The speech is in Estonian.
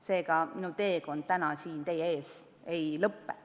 Seega, minu teekond täna siin teie ees ei lõpe.